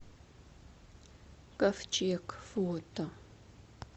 ковчег фото